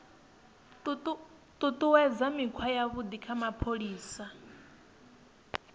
ṱuṱuwedza mikhwa yavhuḓi ya mapholisa